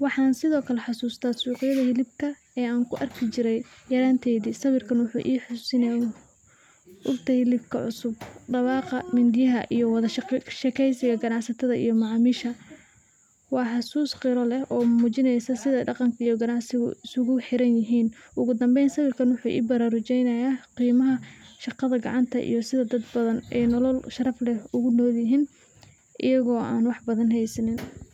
waxam Sidhokale hasusta suqyad hilubka ee an juarkujire yaranteyd, sawirka wuxu i hasusinaya inta hilubka cusub dawaqa mindiyaha iyo wada shageyn qanacsata iyo macamisha, wa hasus gira leh oo mujinaysa sidha qanacsigu isguguhira .